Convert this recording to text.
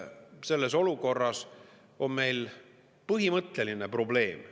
Selles olukorras on meil põhimõtteline probleem.